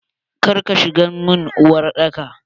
kar ka shiga mun uwar daka!